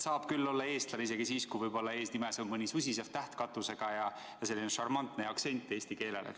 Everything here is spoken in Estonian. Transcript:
Saab küll olla eestlane isegi siis, kui eesnimes on mõni katusega täht, susisev häälik ja kui räägitakse eesti keelt šarmantse aktsendiga.